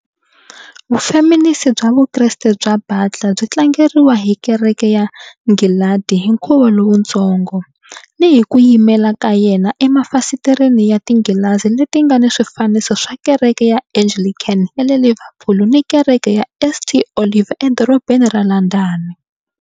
Vufeminisi bya Vukreste bya Butler byi tlangeriwa hi Kereke ya Nghilandhi hi Nkhuvo Lowutsongo, ni hi ku yimela ka yena emafasitereni ya tinghilazi leti nga ni swifaniso swa Kereke ya Anglican ya le Liverpool ni Kereke ya St Olave eDorobeni ra London.